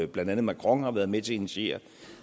blandt andet macron har været med til at initiere det